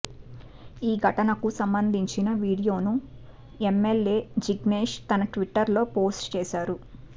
ఈ ఘటనకు సంబంధించిన వీడియోను ఎంఎల్ఎ జిగ్నేష్ తన ట్విట్టర్ లో పోస్ట్ చేశారు